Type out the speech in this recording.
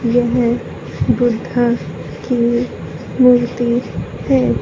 येह बुद्धा की मूर्ति है।